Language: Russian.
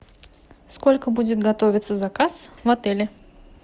сколько будет готовиться заказ в отеле